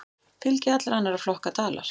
Fylgi allra annarra flokka dalar.